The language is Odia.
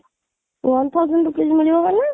one thousand rupees ମିଳିବ ମାନେ?